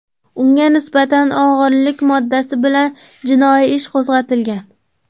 Unga nisbatan o‘g‘irlik moddasi bilan jinoiy ish qo‘zg‘atilgan.